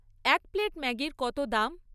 এক প্লেট ম্যাগির কত দাম?